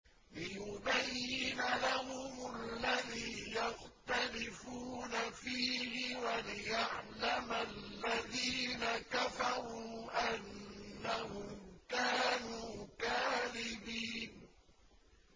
لِيُبَيِّنَ لَهُمُ الَّذِي يَخْتَلِفُونَ فِيهِ وَلِيَعْلَمَ الَّذِينَ كَفَرُوا أَنَّهُمْ كَانُوا كَاذِبِينَ